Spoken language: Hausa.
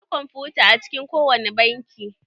Akwai kwamfuta a cikin ko wani banki.